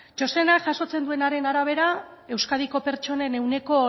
txostenak jasotzen duenaren arabera euskadiko pertsonen ehuneko